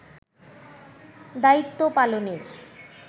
দায়িত্ব পালনের